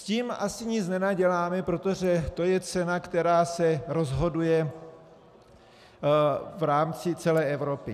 S tím asi nic nenaděláme, protože to je cena, která se rozhoduje v rámci celé Evropy.